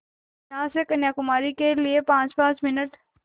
यहाँ से कन्याकुमारी के लिए पाँचपाँच मिनट